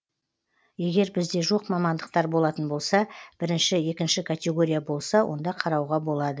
егер бізде жоқ мамандықтар болатын болса бірінші екінші категория болса онда қарауға болады